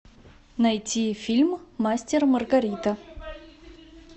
найти фильм мастер и маргарита